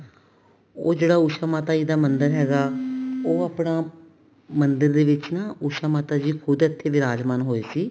ਉਹ ਜਿਹੜਾ ਉਸ਼ਾ ਮਾਤਾ ਜਿਦਾ ਮੰਦਿਰ ਹੈਗਾ ਉਹ ਆਪਣਾ ਮੰਦਿਰ ਦੇ ਵਿੱਚ ਨਾ ਉਸ਼ਾ ਮਾਤਾ ਜੀ ਖੁਦ ਇੱਥੇ ਵਿਰਾਜਮਾਨ ਹੋਏ ਸੀ